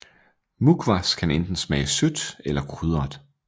Mukhwas kan enten smage sødt eller krydret